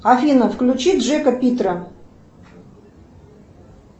афина включи джека питера